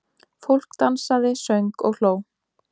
Fólk dansaði, söng og hló.